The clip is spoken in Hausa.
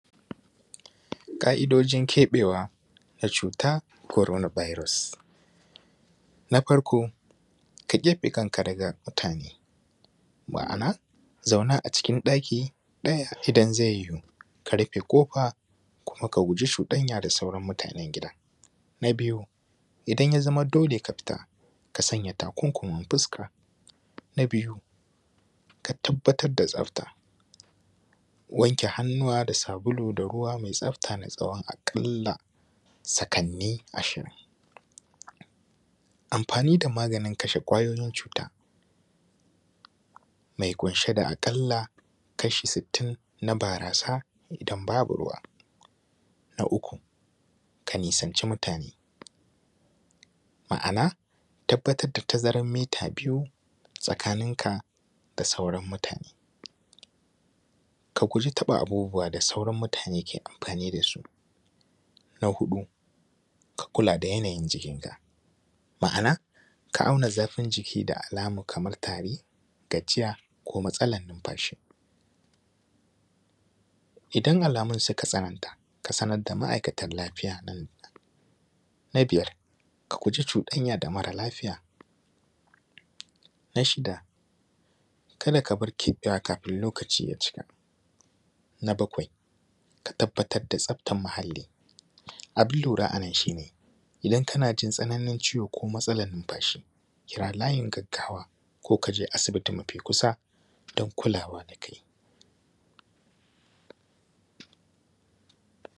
Ka’idojin keɓewa na cuta korona birus. Na farko ka keɓe kanka daga mutane, ma’ana zauna a cikin ɗaki ɗaya idan ze yiwu ka rufe ƙofa, kuma ka guji cudanya da sauran mutanen gida. Na biyu idan ya zama dole ka fita, ka sanya takunkumin fuska. Na biyu ka tabbatar da tsafta, wanke hannuwa da sabulu da ruwa mai tsafta na tsawon a kalla sakani ashirin. Amfani da maganin kashe kwayoyin cuta, mai kunshe da akala kashi sitin na barasa idan babu ruwa. Na uku na nisanci mutane( ma’ana tabbatar da ta zarar mita biyu tsakaninka da sauran mutane). Ka guji taɓa abubuwa da sauran mutane ke amfani dasu. Na huɗu ka kula da yana yin jikinka, ma’ana ka auna zafin jiki da alamar kamar tari, gajiya, ko matsala numfashi. Idan alamun sun tsananta ka sanar da ma’aikata lafiya. Na biyar ka guji cuɗanya da mara lafiya. Na shida kada ka bar keɓewa kafin lokaci ya cika. Na bakwai tabbatar da tsaftan muhali, abin lura anan shi ne idan kana jin tsananin ciwo ko matsalan numfashi kira layin gaggawa ko kaje asibiti mafi kusa don kulawa da kai.